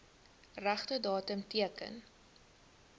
regte datum teken